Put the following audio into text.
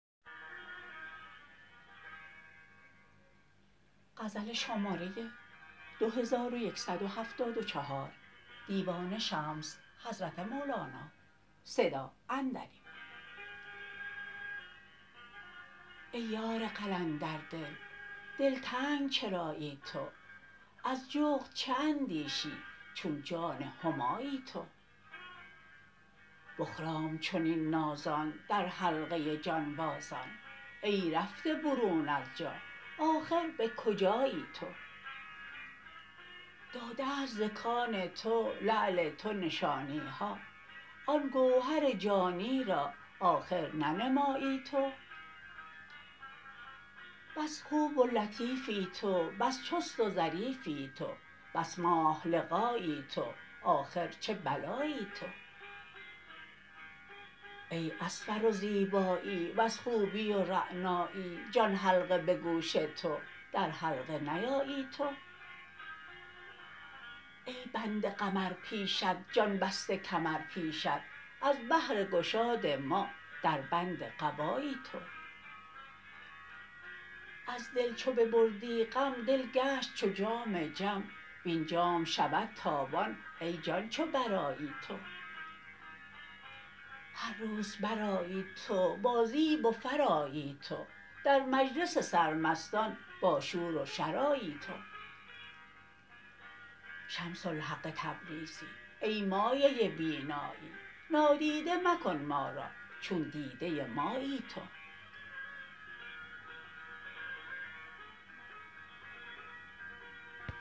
ای یار قلندردل دلتنگ چرایی تو از جغد چه اندیشی چون جان همایی تو بخرام چنین نازان در حلقه جانبازان ای رفته برون از جا آخر به کجایی تو داده ست ز کان تو لعل تو نشانی ها آن گوهر جانی را آخر ننمایی تو بس خوب و لطیفی تو بس چست و ظریفی تو بس ماه لقایی تو آخر چه بلایی تو ای از فر و زیبایی وز خوبی و رعنایی جان حلقه به گوش تو در حلقه نیایی تو ای بنده قمر پیشت جان بسته کمر پیشت از بهر گشاد ما در بند قبایی تو از دل چو ببردی غم دل گشت چو جام جم وین جام شود تابان ای جان چو برآیی تو هر روز برآیی تو با زیب و فر آیی تو در مجلس سرمستان باشور و شر آیی تو شمس الحق تبریزی ای مایه بینایی نادیده مکن ما را چون دیده مایی تو